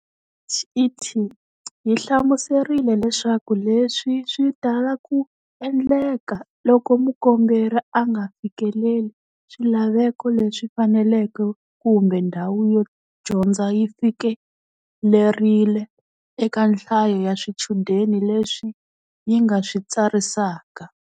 DHET yi hlamuserile leswaku leswi swi tala ku endleka loko mukomberi a nga fikeleli swilaveko leswi faneleke kumbe ndhawu yo dyondza yi fikelerile eka nhlayo ya swichudeni leswi yi nga swi tsarisaka.